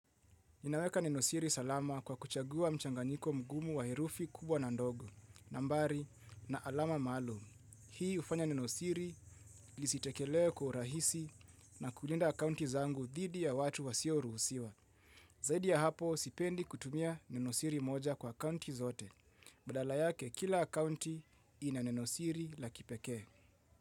Ninaweka nenosiri salama kwa kuchagua mchanganyiko mgumu wa herufi kubwa na ndogo, nambari na alama maalum. Hii hufanya nenosiri lisitekelee kwa urahisi na kulinda akaunti zangu dhidi ya watu wasioruhusiwa. Zaidi ya hapo, sipendi kutumia nenosiri moja kwa akaunti zote. Badala yake, kila akaunti ina nenosiri la kipekee.